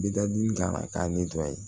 Bidadi kan k'a